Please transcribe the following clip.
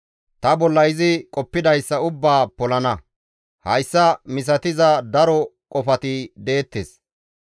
Ta bolla izi qoppidayssa ubbaa polana; hayssa misatiza daro qofati deettes.